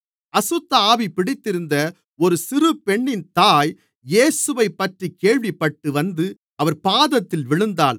அசுத்தஆவி பிடித்திருந்த ஒரு சிறுபெண்ணின் தாய் இயேசுவைப்பற்றிக் கேள்விப்பட்டு வந்து அவர் பாதத்தில் விழுந்தாள்